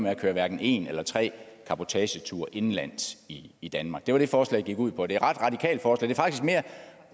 at køre hverken en eller tre cabotageture indenlands i i danmark det var det forslaget gik ud på det